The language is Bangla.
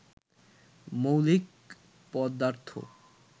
মৌলিক পদার্থ